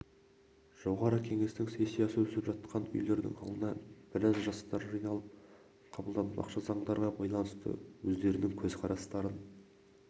жоғарғы кеңестің сессиясы өтіп жатқан үйдің алдына біраз жастар жиналып қабылданбақшы заңдарға байланысты өздерінің көзқарастарын